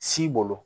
Si bolo